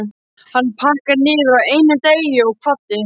Hann pakkaði niður á einum degi og kvaddi.